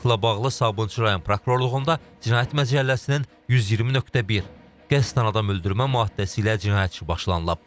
Faktla bağlı Sabunçu rayon prokurorluğunda cinayət məcəlləsinin 120.1 qəsdən adam öldürmə maddəsi ilə cinayət işi başlanılıb.